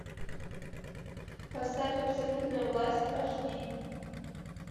поставь абсолютная власть аш ди